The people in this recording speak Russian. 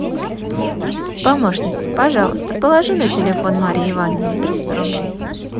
помощник пожалуйста положи на телефон марье ивановне триста рублей